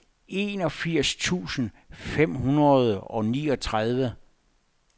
enogfirs tusind fem hundrede og niogtredive